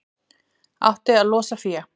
Átti að losa fé